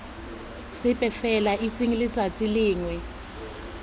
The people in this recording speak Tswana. sepe fela itseng letsatsi lengwe